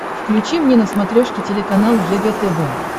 включи мне на смотрешке телеканал егэ тв